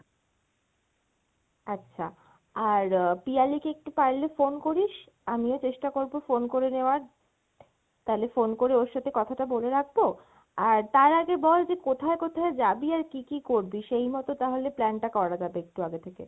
আচ্ছা আর পিয়ালিকে একটু পারলে phone করিস, আমিও চেষ্টা করবো phone করে নেওয়ার, তালে phone করে ওর সাথে কথা টা বলে রাখবো আর তার আগে বল যে কোথায় কোথায় যাবি আর কী কী করবি? সেই মত তাহলে plan টা করা যাবে একটু আগে থেকে।